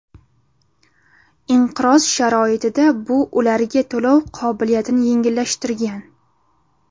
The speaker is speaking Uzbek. Inqiroz sharoitida bu ularga to‘lov qobiliyatini yengillashtirgan.